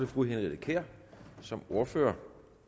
fru henriette kjær som ordfører